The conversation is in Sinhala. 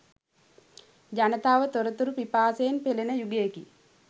ජනතාව තොරතුරු පිපාසයෙන් පෙළෙන යුගයකි.